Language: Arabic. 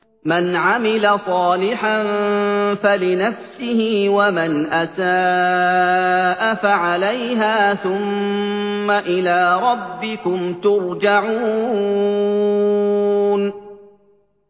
مَنْ عَمِلَ صَالِحًا فَلِنَفْسِهِ ۖ وَمَنْ أَسَاءَ فَعَلَيْهَا ۖ ثُمَّ إِلَىٰ رَبِّكُمْ تُرْجَعُونَ